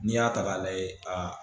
N'i y'a ta k'a lajɛ